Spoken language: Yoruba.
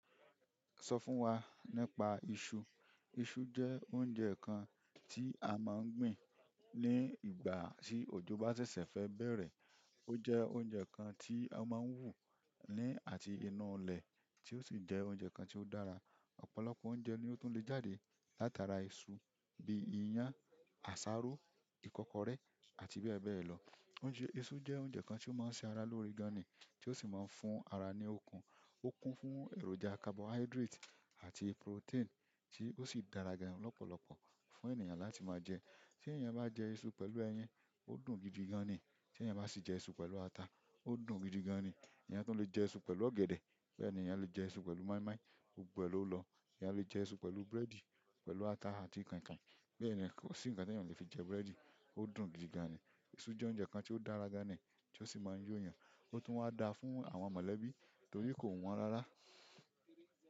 Sọ fún wa nípa iṣu. Isu je oúnjẹ kan ti a maa n gbin ni ìgbà ti ojo ba sese fe bere. Ó jẹ́ oúnjẹ kan tí a máa ń wù ní àti inú ilẹ̀, tí ó sì jẹ́ oúnjẹ kan tí ó dára. Ọ̀pọ̀lọpọ̀ oúnjẹ ni ó tún lè jáde látara iṣu bí i ìyàn, àsáró, ìkọ́kọrẹ́ àti bẹ́ẹ̀ bẹ́ẹ̀ lọ. Isu je oúnjẹ kan ti o maa n se ara loore gan ni ti o maa n fún ara ni ookun. Ó kún fún èròjà carbohydrate àti protein tí ó sì dára gan-an lọ́pọ̀lọpọ̀ fún ènìyàn láti máa jẹ. Tí ènìyàn bá jẹ iṣu pẹ̀lú ẹyin, ó dùn gidi gan-an ni. Tí ènìyàn bá sì jẹ iṣu pẹ̀lú ata, ó dùn gidi gan-an ni. Ẹ̀yàn tún lè jẹ iṣu pẹ̀lú ọ̀gẹ̀dẹ̀, bẹ́ẹ̀ ni ènìyàn le jẹ iṣu pẹ̀lú moi-moi, gbogbo èlòó lọ. Ẹ̀yàn le jẹ iṣu pẹ̀lú búrẹ́dì, pẹ̀lú ata àti kàin kàin. Bẹ́ẹ̀ ni, kò sí ǹkan tí ènìyàn ò le fi jẹ búrẹ́dì, ó dùn gidi gan-an ni. Iṣu jẹ́ oúnjẹ kan tí ó dára gan-an ni, tí ó sì máa ń yó ẹ̀yàn, ó tún máa ń da fún àwọn mọ̀lẹ́bí torí kò wọ́n rárá.